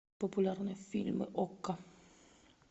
популярные фильмы окко